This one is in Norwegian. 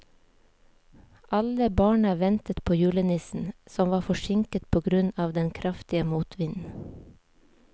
Alle barna ventet på julenissen, som var forsinket på grunn av den kraftige motvinden.